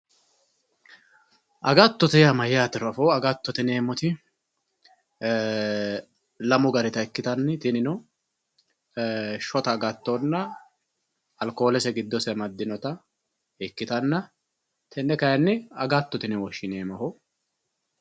agattotte yaa mayaatero afoo agattotte yineemoti lamu garita ikkitanni tinino shota agattonna alkoolese goddose amadinota ikkitanna tenne kaayiini agattote yine woshshineemo